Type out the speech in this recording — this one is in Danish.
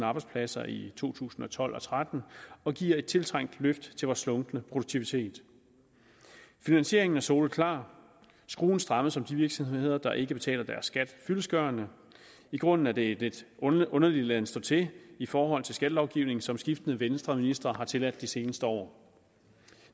arbejdspladser i to tusind og tolv og tretten og giver et tiltrængt løft af vores slunkne produktivitet finansieringen er soleklar skruen strammes om de virksomheder der ikke betaler deres skat fyldestgørende i grunden er det en lidt underlig laden stå til i forhold til skattelovgivningen som skiftende venstreministre har tilladt de seneste år